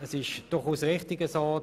Es ist so: